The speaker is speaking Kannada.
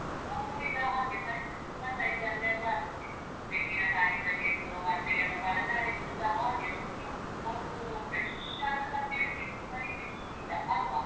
ಮುದುಡಿದ ಹಾಗೆ ಸಣ್ಣ size ಲ್ಲೆಲ್ಲಾ ಆಗ್ತದೆ, ತೆಂಗಿನಕಾಯಿಂದ ಹಿಡ್ದು ಮತ್ತೆ ಎಲ್ಲ ತರಕಾರಿ ಕೂಡಸ ಹಾಗೆ ಎಷ್ಟು ಒಂದು fresh ದದ್ದು ಅಂತ ಹೇಳಿ ಸಿಗುದು ಕಡಿಮೆ ಈಗ ಅಲ್ವಾ?